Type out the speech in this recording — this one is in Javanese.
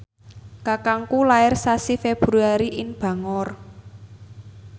kakangku lair sasi Februari ing Bangor